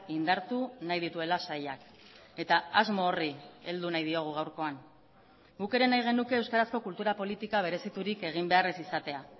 indartu nahi dituela sailak eta asmo horri heldu nahi diogu gaurkoan guk ere nahi genuke euskarazko kultura politika bereziturik egin behar ez izatea